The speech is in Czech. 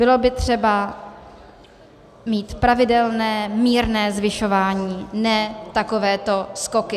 Bylo by třeba mít pravidelné, mírné zvyšování, ne takovéto skoky.